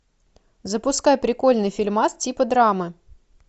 запускай прикольный фильмас типа драма